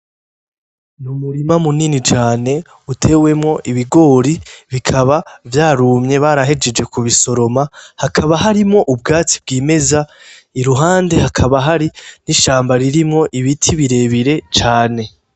Umurima munini cane utewemwo ibigori bikaba vyarumye barahejeje ku bisoroma hakaba harimwo ubwatsi bwimeza, iruhande hakaba hari n'ishamba ririmwo ibiti birebire cane.